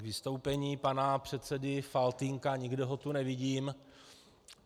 K vystoupení pana předsedy Faltýnka - nikde ho tu nevidím.